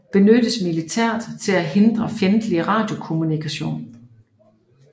Benyttes militært til at hindre fjendtlig radiokommunikation